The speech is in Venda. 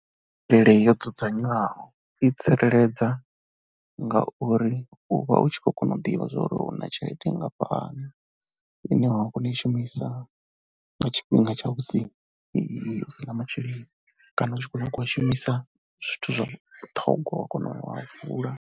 Nyimele yo dzudzanywaho i tsireledza ngauri u vha u tshi khou kona u ḓivha uri u na tshelede nngafhani ine wa kona u i shumisa nga tshifhinga tsha musi hu si na masheleni kana u tshi khou nyanga u a shumisa zwithu zwa vhuṱhoga wa kona u a vula.